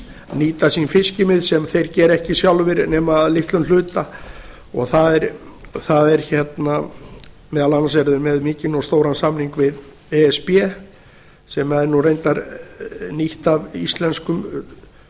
nýta sín fiskimið sem þeir gera ekki sjálfir nema að litlum hluta meðal annars eru þeir með mikinn og stóran samning við e s b sem er nú reyndar nýtt af íslenskum